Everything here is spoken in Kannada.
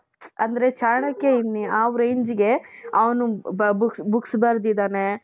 ಅಂದ್ರೆ ಚಾಣಕ್ಯ ಇನ್ನ ಯಾವ rangeಗೆ ಅವನು ಬಾ books books ಬರೆದಿದ್ದಾನೆ